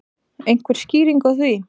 Einhver skýring á því?